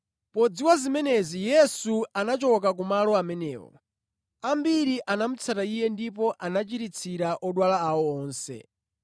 Podziwa zimenezi, Yesu anachoka kumalo amenewo. Ambiri anamutsata Iye ndipo anachiritsira odwala awo onse